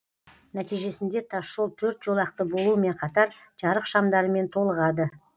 нәтижесінде тасжол төрт жолақты болуымен қатар жарық шамдарымен толығады